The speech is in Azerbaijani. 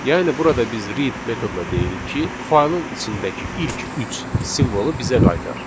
Yəni burada biz read metoduna deyirik ki, faylın içindəki ilk üç simvolu bizə qaytar.